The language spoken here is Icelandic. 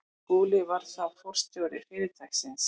Skúli var þá forstjóri fyrirtækisins.